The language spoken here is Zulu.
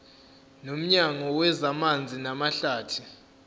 nomnyango wezamanzi namahlathi